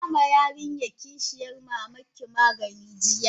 Kin bama yarinyan kishiyan mamanki magani jiya?